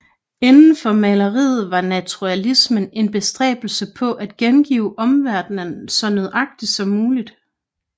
Inden for maleriet var naturalismen en bestræbelse på at gengive omverdenen så nøjagtigt som muligt